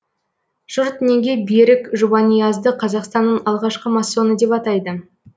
жұрт неге берік жұбаниазды қазақстанның алғашқы массоны деп атайды